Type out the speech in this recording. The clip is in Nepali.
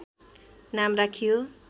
नाम राखियो